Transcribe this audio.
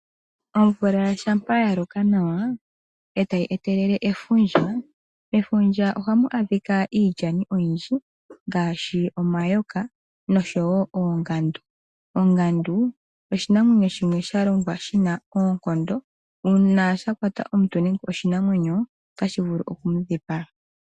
Omvula shampa ya loka nawa e tayi etelele efundja, mefundja ohamu adhika iilyani oyindji ngaashi omayoka noshowo oongandu. Ongandu oshinamwenyo shimwe sha lomgwa shina oonkondo, uuna sha kwata omuntu nenge oshinamwenyo otashi vulu oku mu dhipaga.